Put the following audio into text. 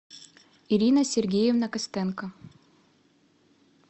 ирина сергеевна костенко